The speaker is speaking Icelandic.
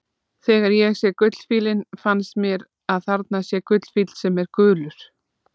Þegar ég sé gullfífillinn finnst mér að þarna sé gullfífill sem er gulur.